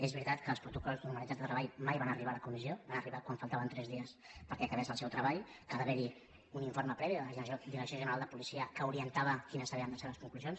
és veritat que els protocols de normalitat de treball mai van arribar a la comissió hi van arribar quan faltaven tres dies perquè acabés el seu treball que va haver hi un informe previ de la direcció general de policia que orientava quines havien de ser les conclusions